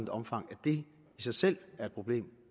omfang at det i sig selv er et problem